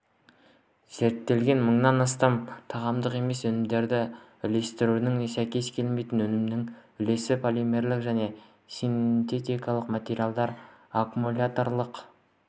зерттелінген мыңнан астам тағамдық емес өнімдер үлгілерінің сәйкес келмейтін өнімнің үлесі полимерлік және синтетикалық материалдар аккумуляторлық